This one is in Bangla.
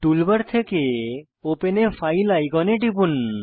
টুলবার থেকে ওপেন a ফাইল আইকনে টিপুন